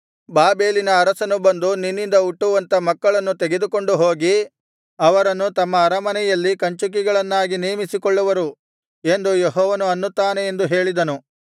ಬಾಬೆಲಿನ ಅರಸನು ಬಂದು ನಿನ್ನಿಂದ ಹುಟ್ಟುವಂಥ ಮಕ್ಕಳನ್ನು ತೆಗೆದುಕೊಂಡು ಹೋಗಿ ಅವರನ್ನು ತಮ್ಮ ಅರಮನೆಯಲ್ಲಿ ಕಂಚುಕಿಗಳನ್ನಾಗಿ ನೇಮಿಸಿಕೊಳ್ಳುವರು ಎಂದು ಯೆಹೋವನು ಅನ್ನುತ್ತಾನೆ ಎಂದು ಹೇಳಿದನು